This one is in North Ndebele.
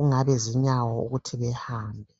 ingabe zinyawo ukuthi zihambe.